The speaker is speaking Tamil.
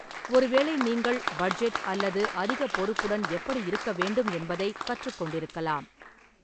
ஒருவேளை நீங்கள் பட்ஜெட் அல்லது அதிக பொறுப்புடன் எப்படி இருக்க வேண்டும் என்பதைக் கற்றுக்கொண்டிருக்கலாம்.